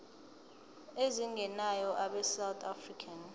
ezingenayo abesouth african